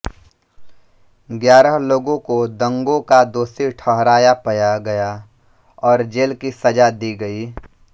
ग्यारह लोगों को दंगों का दोषी ठहराया पया गया और जेल की सजा दि गयी